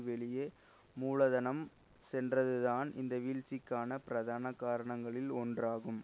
வெளியே மூலதனம் சென்றதுதான் இந்த வீழ்ச்சிக்கான பிரதான காரணங்களில் ஒன்றாகும்